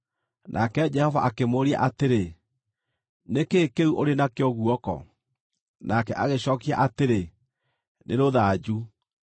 Nake Jehova akĩmũũria atĩrĩ, “Nĩ kĩĩ kĩu ũrĩ nakĩo guoko?” Nake agĩcookia atĩrĩ, “Nĩ rũthanju.”